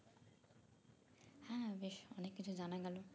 হ্যাঁ বেশ অনেক কিছু জানা গেল